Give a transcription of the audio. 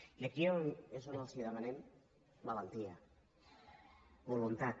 i aquí és on els demanem valentia voluntat